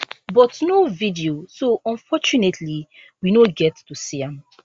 but no video so unfortunately we no get to see am